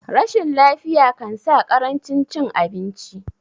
rashin lafiya kansa karancin cin abinci